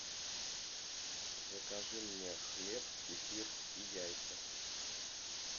закажи мне хлеб кефир и яйца